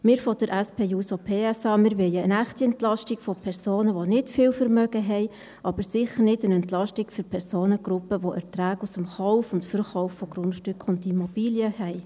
Wir von der SP-JUSO-PSA, wir wollen eine echte Entlastung von Personen, die nicht viel Vermögen haben, aber sicher nicht eine Entlastung für Personengruppen, die Erträge aus dem Kauf und Verkauf von Grundstücken und Immobilien haben.